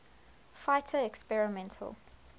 fighter experimental